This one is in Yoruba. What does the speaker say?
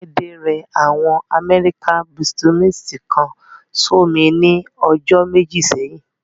Láídé rẹ àwọn amẹ́ríkà búúṣímíntì kan sómi ní ọjọ́ méjì sẹ́yìn